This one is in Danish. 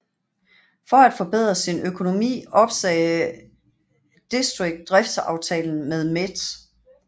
For at forbedre sin økonomi opsagde District driftsaftalen med Met